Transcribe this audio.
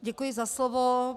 Děkuji za slovo.